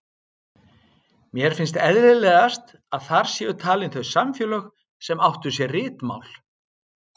Mér finnst eðlilegast að þar séu talin þau samfélög sem áttu sér ritmál.